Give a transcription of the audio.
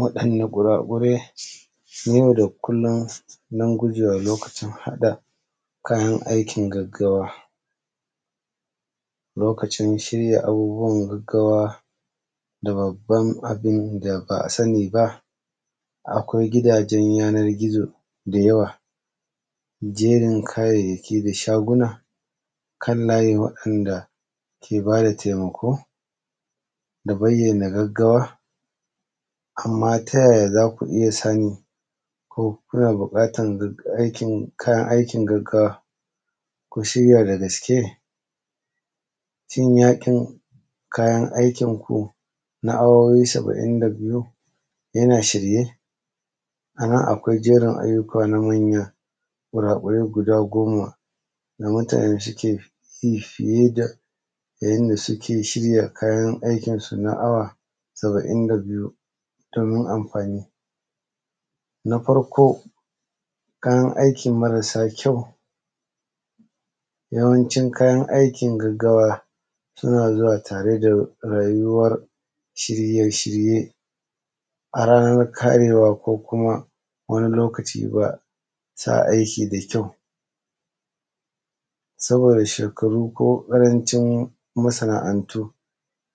waɗanne guragurai na yau da kullun don gujewa lokacin haɗa kayan aikin gaggawa lokacin shirya abubbuwan gaggawa da babban abin da ba a sani ba akwai gidajen yanan gizo da yawa jerin kayayyaki da shaguna kan layewa waɗanda ke ba da taimako da bayyana gaggawa amma ta yaya za ku iya sani ko kuna buƙatan kayan aikin gaggawa ku shirya da gaske shin yaƙin kayan aikin ku na awowi saba'in da biyu yana shirye a nan akwai jerin ayyuka na manya guragurai guda goma da mutum nan ciki fiye da yanda suke shirya kayan aikin na awa saba'in da biyu domin amfani na farko kayan aikin marasa kyau yawancin kayan aikin gaggawa suna zuwa tare da rayuwar shirye shirye a ranar karewa ko kuma wani lokaci ba sa aiki da kyau saboda shekaru ko ƙarancin masana’antu